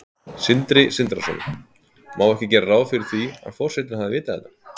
Sindri Sindrason: Má ekki gera ráð fyrir því að forsetinn hafi vitað þetta?